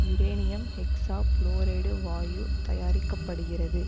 uranium hexafluoride வாயு தயாரிக்க படுகிறது